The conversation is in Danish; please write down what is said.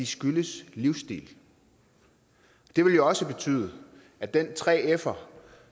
skyldes livsstil det vil også betyde at den 3fer